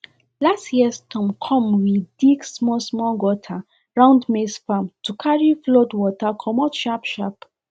last year storm come we dig smallsmall gutter round maize farm to carry flood water commot sharpsharp